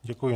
Děkuji.